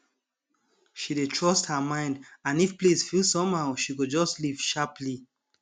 she dey trust her mind and if place feel somehow she go just leave sharply